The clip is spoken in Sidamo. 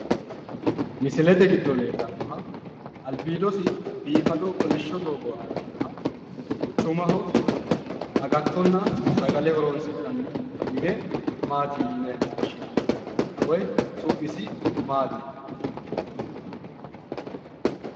misilete giddo leellannoha albiidosi biifado kolishsho doogo aana nooha quchumaho agattonna sagale horo'sinanni mine maati yine woshshinanni? woyi su'misi maati yinanni?